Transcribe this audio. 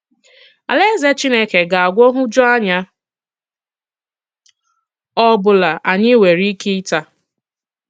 Àlàèzè Chìnékè ga-agwọ nhụjuanya ọ̀bụ̀la ànyị̀ nwere ìkè ịtà.